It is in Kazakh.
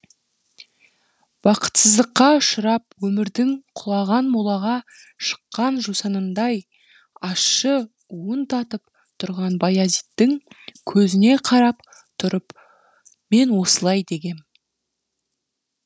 бакытсыздыққа ұшырап өмірдің құлаған молаға шыққан жусанындай ащы уын татып тұрған баязиттің көзіне қарап тұрып мен осылай дегем